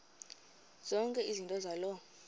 zonke izinto zaloo